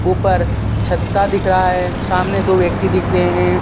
ऊपर छता दिख रहा है सामने दो व्यक्ति दिख रहे हैं।